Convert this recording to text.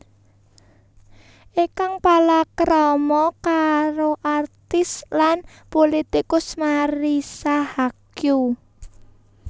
Ikang palakrama karo aktris lan pulitikus Marissa Haque